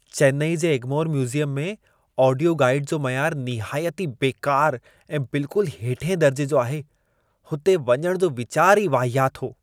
चेन्नई जे एग्मोर म्यूज़ियम में audio guide जो मयारु निहायती बेकारु ऐं बिल्कुलु हेठिएं दर्जे जो आहे। हुते वञण जो वीचार ई वाहियात हो।